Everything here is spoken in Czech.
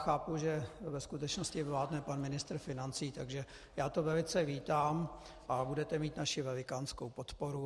Chápu, že ve skutečnosti vládne pan ministr financí, takže já to velice vítám a budete mít naši velikánskou podporu.